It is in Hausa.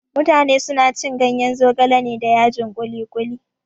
Mutane suna cin ganyen zogale da yajin kuli-kuli.